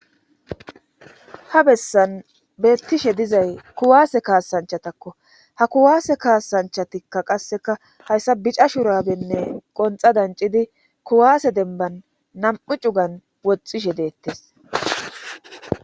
ha bessan beettishe dizay kuwaase kaasanchatakko ha kuwaase kaasanchatikka qasseka hayssa bica shurabenne qonxa dancidi kuwaase denban nam7u cugan woxxishe deettes